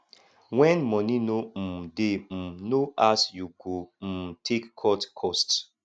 when money no um de um no as you go um take cut cost